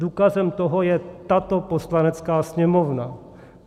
Důkazem toho je tato Poslanecká sněmovna.